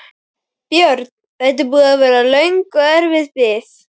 Björn: Þetta er búin að vera löng og erfið bið?